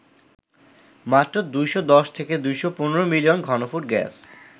মাত্র ২১০ থেকে ২১৫ মিলিয়ন ঘনফুট গ্যাস